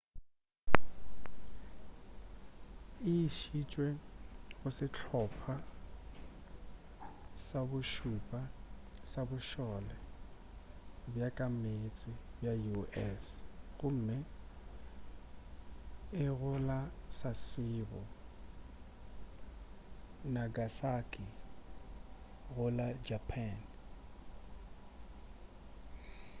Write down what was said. e išitšwe go sehlopa sa bo šupa sa bošole bja ka meetse bja u.s. gomme e go la sasebo nagasaki go la japan